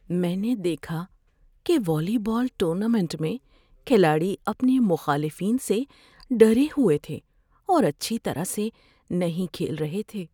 میں نے دیکھا کہ والی بال ٹورنامنٹ میں کھلاڑی اپنے مخالفین سے ڈرے ہوئے تھے اور اچھی طرح سے نہیں کھیل رہے تھے۔